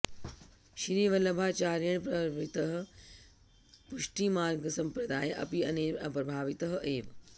श्री वल्लभाचार्येण प्रवर्तितः पुष्टिमार्गसम्प्रदायः अपि अनेन प्रभावितः एव